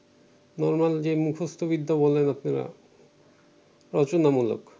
normal যে মুখস্তবিদ্যা বলেন আপনারা রচনামূলক